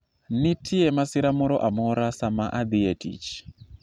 nitie masira moro amora sama adhi e tich